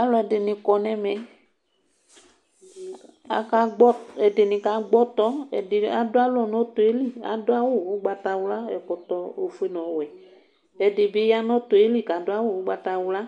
Alʋ dini kɔ nʋ ɛmɛ ɛdni kagbɔ ɔtɔ ɛdini adʋ alɔ nʋ ɔtɔ yɛli adʋ awʋ ʋgbatawla ɛkɔtɔ ofʋe nʋ ɔwɛ ɛdibi yanʋ ɔtɔɛli kʋ adʋ awʋ ʋgbatawla